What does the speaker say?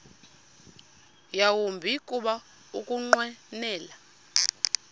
yawumbi kuba ukunqwenela